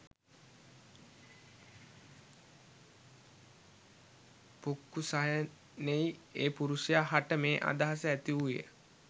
පුක්කුසයෙනි ඒ පුරුෂයා හට මේ අදහස ඇතිවූයේ ය.